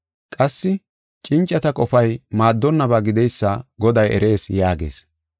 Qassi, “Cincata qofay maaddonnaba gideysa Goday erees” yaagees.